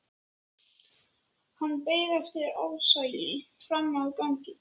Hann beið eftir Ársæli frammi á gangi.